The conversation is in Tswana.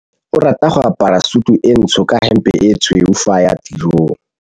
Onkabetse o rata go apara sutu e ntsho ka hempe e tshweu fa a ya tirong.